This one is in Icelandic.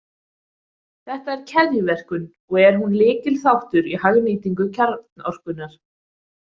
Þetta er keðjuverkun, og er hún lykilþáttur í hagnýtingu kjarnorkunnar.